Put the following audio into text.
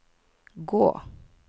gå